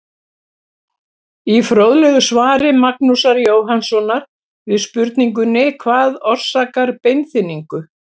Í fróðlegu svari Magnúsar Jóhannssonar við spurningunni Hvað orsakar beinþynningu?